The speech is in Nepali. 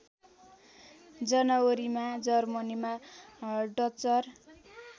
जनवरीमा जर्मनीमा डचर